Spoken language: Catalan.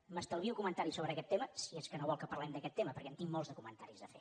m’estalvio comentaris sobre aquest tema si és que no vol que parlem d’aquest tema perquè en tinc molts de comentaris a fer